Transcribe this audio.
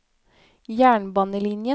jernbanelinjen